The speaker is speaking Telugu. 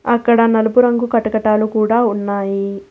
అక్కడ నలుపు రంగు కటకటాలు కూడా ఉన్నాయి.